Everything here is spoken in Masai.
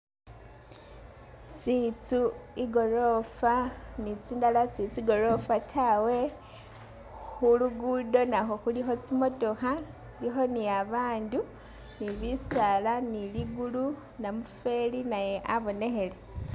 Tsitsu i'gorofa ni tsindala sitsili tsigorofa tawe, khu lugudo nakhwo khulikho tsimotokha, khulikho ni babandu, ni bisaala, ni ligulu, ni namufweli naye abonekhele.